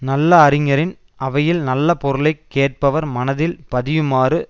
நல்ல அறிஞரின் அவையில் நல்ல பொருளை கேட்பவர் மனதில் பதியுமாறு